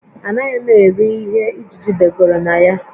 Anaghị m eri ihe ijiji begoro na ya